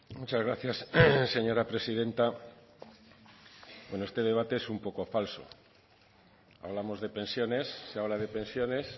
muchas gracias señora presidenta bueno este debate es un poco falso hablamos de pensiones se habla de pensiones